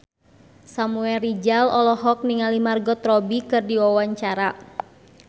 Samuel Rizal olohok ningali Margot Robbie keur diwawancara